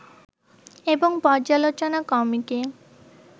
এবং পর্যালোচনা কমিটি